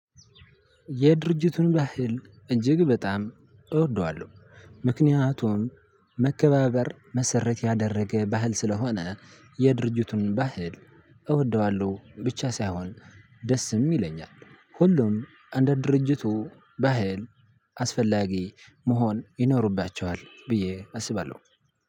የድርጅቱን ባህል እጅግ በጣም እወደዋለሁ። ምክንያቱን መከባበር መሰረት ያደረገ ባህል ስለሆነ የድርጅቱን ባህል እወደዋለሁ ብቻ ሳይሆን ደስም ይለኛል። ሁሉም እንደ ድርጅቱ ባህል አስፈላጊ መሆን ይኖርባቸዋል ብዬ አስባለሁ።